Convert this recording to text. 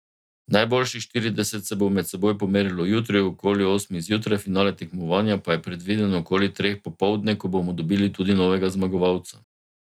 Najboljših štirideset se bo med seboj pomerilo jutri okoli osmih zjutraj, finale tekmovanja pa je predviden okoli treh popoldne, ko bomo dobili tudi novega zmagovalca.